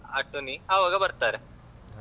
ಆ tourney ಆವಾಗ ಬರ್ತಾರೆ.